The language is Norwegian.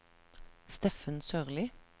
Steffen Sørli